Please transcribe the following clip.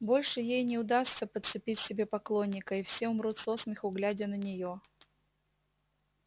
больше ей не удастся подцепить себе поклонника и все умрут со смеху глядя на нее